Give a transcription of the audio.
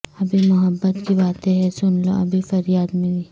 ابھی محبت کی باتیں ہیں سن لو ابھی فریاد میری